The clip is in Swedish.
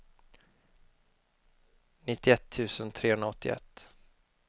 nittioett tusen trehundraåttioett